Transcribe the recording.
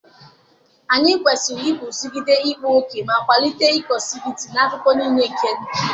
anyị kwesịrị iguzogide ịkpa ókè ma kwalite inclusivity n'akụkụ niile nke ndụ.